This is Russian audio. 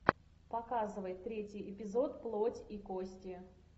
показывай третий эпизод плоть и кости